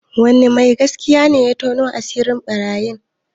Wani mai gaskiya ne ya tona asirin ɓarayin?